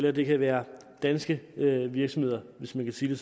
at det kan være danske virksomheder hvis man kan sige